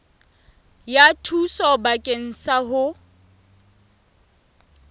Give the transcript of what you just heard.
ya thuso bakeng sa ho